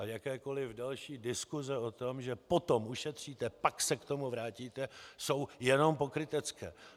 A jakékoli další diskuse o tom, že potom ušetříte, pak se k tomu vrátíte, jsou jenom pokrytecké.